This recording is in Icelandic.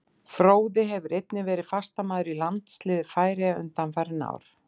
Fróði hefur einnig verið fastamaður í landsliði Færeyja undanfarin ár.